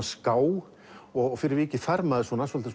ská og fyrir vikið fær maður